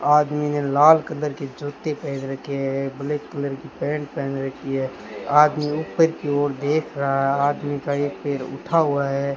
आदमी ने लाल कलर के जूतें पहन रखें है ब्लैक कलर की पॅन्ट पहन रखीं है आदमी ऊपर की ओर देख रहा आदमी का एक पैर उठा हुवा है।